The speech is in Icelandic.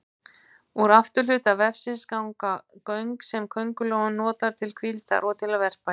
Úr afturhluta vefsins ganga göng sem köngulóin notar til hvíldar og til að verpa í.